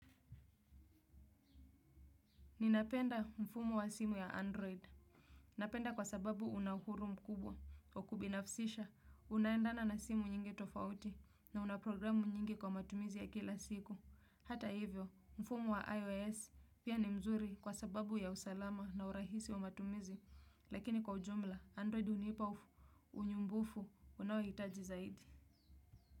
Ninapenda mfumu wa simu ya Android. Napenda kwa sababu una huru mkubwa wa kubinafsisha unaendana na simu nyingi tofauti na una programu nyingi kwa matumizi ya kila siku. Hata hivyo mfumu wa iOS pia ni mzuri kwa sababu ya usalama na urahisi wa matumizi lakini kwa ujumla Android unipa unyumbufu unaoitaji zaidi.